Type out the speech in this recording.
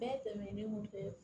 Bɛɛ tɛmɛnen kɔfɛ